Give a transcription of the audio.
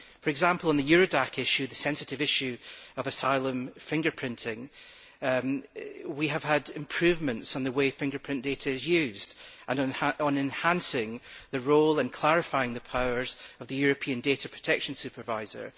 For example, on the Eurodac issue the sensitive issue of asylum seeker fingerprinting we have had improvements in the way fingerprint data is used, and on enhancing the role and clarifying the powers of the European Data Protection Supervisor.